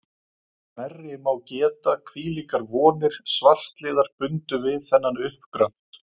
Nærri má geta, hvílíkar vonir svartliðar bundu við þennan uppgröft.